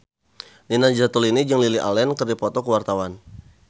Nina Zatulini jeung Lily Allen keur dipoto ku wartawan